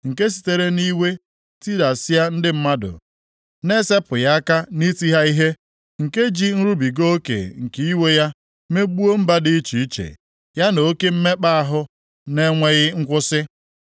nke sitere nʼiwe tidasịa ndị mmadụ na-esepụghị aka nʼiti ha ihe, nke ji nrubiga oke nke iwe ya megbuo mba dị iche iche ya na oke mmekpa ahụ na-enweghị nkwusi.